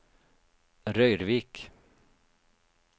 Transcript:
Røyrvik